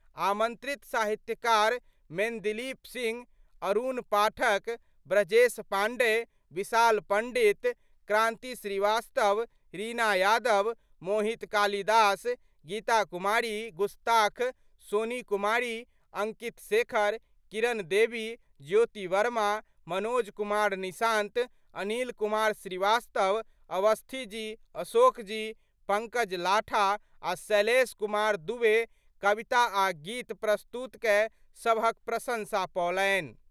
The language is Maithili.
आमंत्रित साहित्यकार मेंदिलीप सिंह, अरुण पाठक, ब्रजेश पांडेय, विशाल पंडित, क्रांति श्रीवास्तव, रीना यादव, मोहित काली दास, गीता कुमारी गुस्ताख, सोनी कुमारी, अंकित शेखर, किरण देवी, ज्योति वर्मा, मनोज कुमार निशांत, अनिल कुमार श्रीवास्तव, अवस्थी जी, अशोक जी, पंकज लाठा आ' शैलेश कुमार दूबे कविता आ' गीत प्रस्तुत कय सभहक प्रशंसा पओलनि।